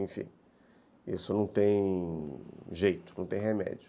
Enfim, isso não tem jeito, não tem remédio.